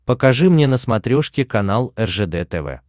покажи мне на смотрешке канал ржд тв